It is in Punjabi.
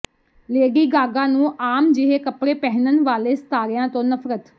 ਲੇਡੀ ਗਾਗਾ ਨੂੰ ਆਮ ਜਿਹੇ ਕੱਪੜੇ ਪਹਿਨਣ ਵਾਲੇ ਸਿਤਾਰਿਆਂ ਤੋਂ ਨਫਰਤ